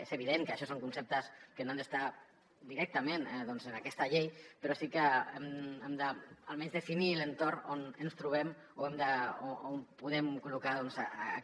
és evident que això són conceptes que no han d’estar directament en aquesta llei però sí que hem d’almenys definir l’entorn on ens trobem on podem col·locar aquesta llei